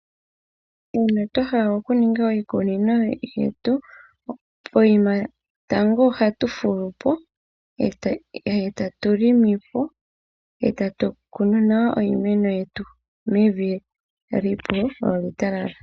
Uuna twahala okuninga iikunino yetu, pokuma tango ohatu fulupo, e tatu longopo, e tatu kunu nawa iimeno yetu, mevi epu lyo olya talala.